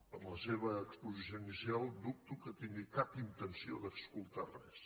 per la seva exposició inicial dubto que tingui cap intenció d’escoltar res